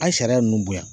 A' sariya ninnu bonya